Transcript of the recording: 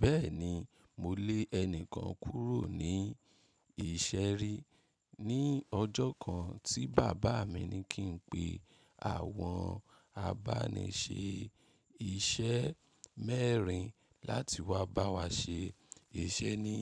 Bẹ́ẹ̀ni, mo lé ẹni kan kúrò ní ìṣeré ní ọjọ́ kan tí bàbá mi ní kí n pe àwọn abáni ṣe iṣẹ́ mẹ́rin láti wá bá wa ṣe iṣẹ́ ní